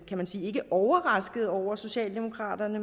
kan man sige ikke overrasket over socialdemokraterne